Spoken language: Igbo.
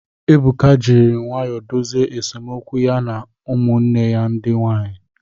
Ebuka jiri nwayọọ dozie esemokwu ya na ụmụnne ya ndị nwaanyị.